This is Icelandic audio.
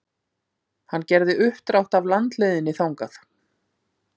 Hann gerði uppdrátt af landleiðinni þangað.